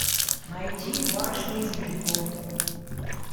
найти барышни из вилько